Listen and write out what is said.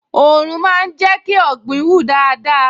Òòrùn máa ń jẹ́ kí ọ̀gbìn hù dáadáa